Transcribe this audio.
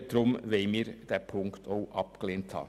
Deshalb möchten wir diesen Punkt ebenfalls abgelehnt haben.